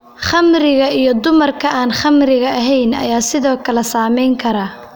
Khamriga iyo dumarka aan khamriga ahayn ayaa sidoo kale saameyn kara.